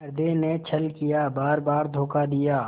हृदय ने छल किया बारबार धोखा दिया